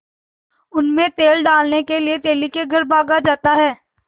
उनमें तेल डालने के लिए तेली के घर भागा जाता है